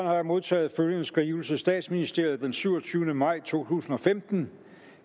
har jeg modtaget følgende skrivelse statsministeriet den syvogtyvende maj to tusind og femten